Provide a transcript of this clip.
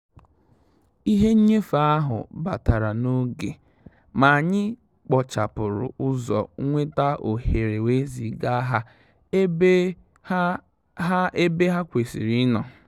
Ìhè nnyéfé áhụ́ bàtàrà n’ógè, mà ànyị́ kpòchàpụ́rụ̀ ụ́zọ́ nwétà òhéré wèé zìgà hà ébè hà hà ébè hà kwésị́rị́ ì nọ́.